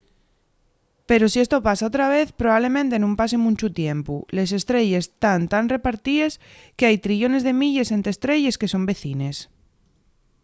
pero si esto pasa otra vez probablemente nun pase munchu tiempu. les estrelles tán tan repartíes qu’hai trillones de milles ente estrelles que son vecines